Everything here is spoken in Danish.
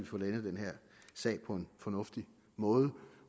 få landet den her sag på en fornuftig måde